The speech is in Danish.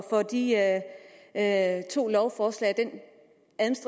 rigtige vej at gå